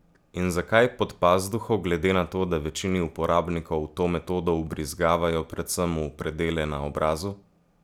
In zakaj pod pazduho, glede na to, da večini uporabnikov to metodo vbrizgavajo predvsem v predele na obrazu?